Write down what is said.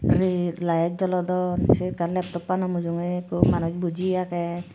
biret light jolodon se ekkan laptop ano mujungi ekku manuj boji age.